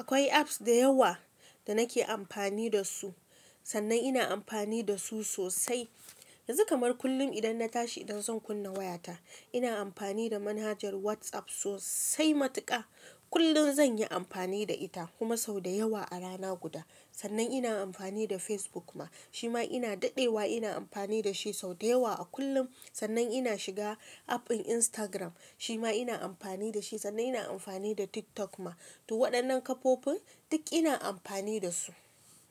Akwai apps da yawa da nake amfani da su, sannan ina amfani da su sosai. Yanzu kamar kullun idan na tashi idan zan kunna waya ta ina anfani da manhajar WhatsApp sosai matuƙa. Kullun zan yi amfani da ita kuma sau da yawa a rana guda. Sannan ina amfani da Facebook ma, shi ma ina daɗewa ina amfani da shi sau da yawa a kullum. Sannan ina shiga app ɗin Instagram, shi ma ina amfani da shi. Sannan ina amfani da TikTok ma. To waɗannan kafofin duk ina amfani da su